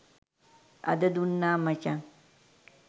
අද දුන්නා මචං.